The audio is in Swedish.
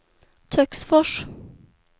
Töcksfors